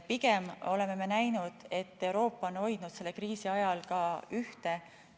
Pigem oleme näinud, et Euroopa on hoidnud selle kriisi ajal ka ühte.